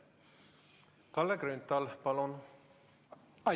Kalle Grünthal, palun!